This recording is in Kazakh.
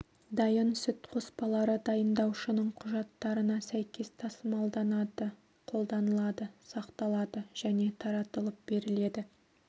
дайын сүт қоспалары дайындаушының құжаттарына сәйкес тасымалданады қолданылады сақталады және таратылып беріледі